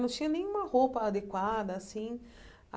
Não tinha nenhuma roupa adequada, assim.